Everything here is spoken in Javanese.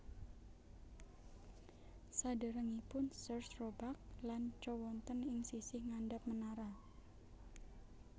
Saderengipun Sears Roebuck lan Co wonten ing sisih ngandhap menara